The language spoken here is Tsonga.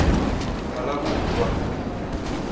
phalaborwa